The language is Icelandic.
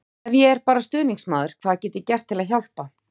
Ef ég er bara stuðningsmaður, hvað get ég gert til að hjálpa?